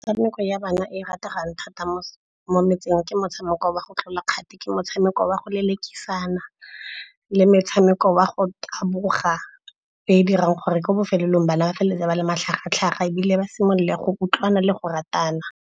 Metshameko ya bana e e rategang thata mo metseng ke motshameko wa go tlola kgato, ke motshameko wa go lelekisana le motshameko wa go taboga. E e dirang gore ko bofelelong bana ba feleletse ba le matlhagatlhaga ebile ba simolola go utlwana le go ratana.